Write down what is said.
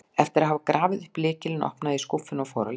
Eftir að hafa grafið upp lykilinn opnaði ég skúffuna og fór að leita.